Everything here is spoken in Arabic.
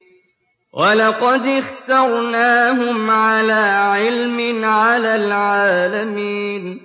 وَلَقَدِ اخْتَرْنَاهُمْ عَلَىٰ عِلْمٍ عَلَى الْعَالَمِينَ